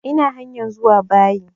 Ina hanyar zuwa bayi